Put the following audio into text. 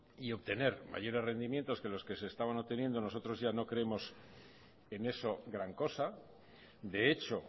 y obtener mayores rendimientos que los que se estaban obteniendo nosotros ya no creemos en eso gran cosa de hecho